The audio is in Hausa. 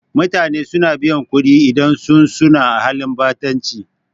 Mutane suna biyan kuɗi idan sun suna halin ɓatanci